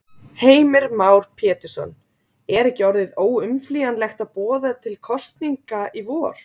Heimir Már Pétursson: Er ekki orðið óumflýjanlegt að boða til kosninga í vor?